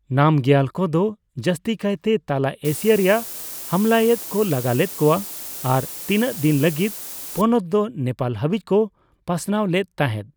ᱱᱟᱢᱜᱤᱭᱟᱞ ᱠᱚᱫᱚ ᱡᱟᱹᱥᱛᱤ ᱠᱟᱭᱜᱮ ᱛᱟᱞᱟ ᱮᱥᱤᱭᱟ ᱨᱮᱭᱟᱜ ᱦᱟᱢᱞᱟᱭᱮᱫ ᱠᱚ ᱞᱟᱜᱟ ᱞᱮᱫ ᱠᱚᱣᱟ ᱟᱨ ᱛᱤᱱᱟᱹᱜ ᱫᱤᱱ ᱞᱟᱹᱜᱤᱫ ᱯᱚᱱᱚᱛ ᱫᱚ ᱱᱮᱯᱟᱞ ᱦᱟᱹᱵᱤᱡ ᱠᱚ ᱯᱟᱥᱱᱟᱣ ᱞᱮᱫ ᱛᱟᱦᱮᱸᱫ ᱾